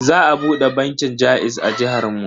Za a bude bankin jaiz a jihar mu.